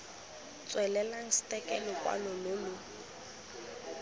tswelelang stke lokwalo lo lo